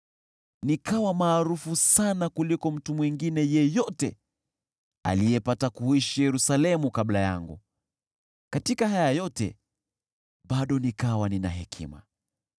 Nikawa maarufu sana kuliko mtu mwingine yeyote aliyepata kuishi Yerusalemu kabla yangu. Katika haya yote bado nikawa nina hekima.